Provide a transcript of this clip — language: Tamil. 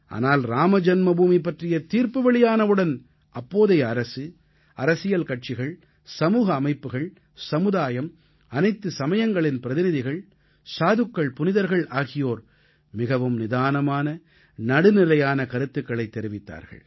ஆனால் இராமஜன்மபூமி பற்றிய தீர்ப்பு வெளியானவுடன் அப்போதைய அரசு அரசியல் கட்சிகள் சமூக அமைப்புகள் சமுதாயம் அனைத்து சமயங்களின் பிரதிநிதிகள் சாதுக்கள்புனிதர்கள் ஆகியோர் மிகவும் நிதானமான நடுநிலையான கருத்துக்களைத் தெரிவித்தார்கள்